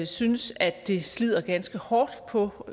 synes at det slider ganske hårdt på